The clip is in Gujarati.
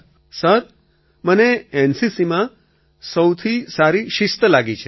અખિલ સર મને એનસીસીમાં સૌથી સારી શિસ્ત લાગી છે